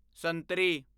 ਸੰਤਰੀ